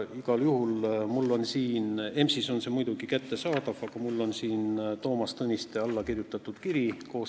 Igal juhul on mul siin – EMS-is on see muidugi kättesaadav – Toomas Tõniste allakirjutatud kiri.